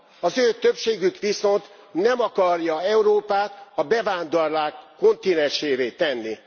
Az ő többségük viszont nem akarja Európát a bevándorlók kontinensévé tenni.